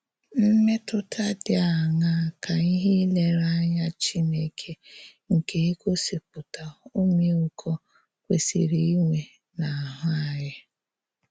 Mmètụ̀tà dị àṅàà ka íhè nlèrèányà Chínèkè nke ígósìpùtà ọmị́íkò kwèsìrì ínwè n’áhụ́ ányị?